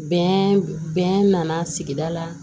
Bɛn bɛn nana sigi la